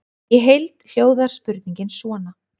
Í heild hljóðar spurningin svona: